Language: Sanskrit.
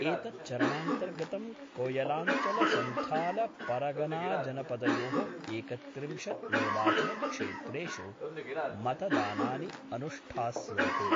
एतच्चारणान्तर्गतं कोयलांचलसंथाल परगनाजनपदयोः एकत्रिंशत् निर्वाचनक्षेत्रेषु मतदानानि अनुष्ठास्यन्ते।